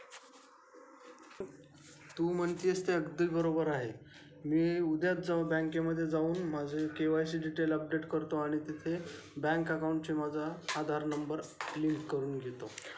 तू म्हणतेस ते अगदी बरोबर आहे मी उद्याच जाऊ बँके मध्ये जाऊन माझी केवायसी डिटेल्स अपडेट करतो आणि तिथे बँक अकाउंट शी माझा आधार नंबर लिंक करून घेतो.